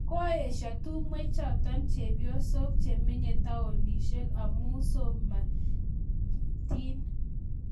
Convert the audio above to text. Koesha tumwek chotok chebyosok chemenye taonishek amuu somanyatiin